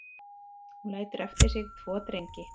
Hún lætur eftir sig tvo drengi